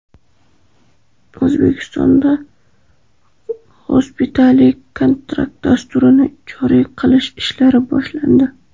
O‘zbekistonda Hospitality Contract dasturini joriy qilish ishlari boshlandi.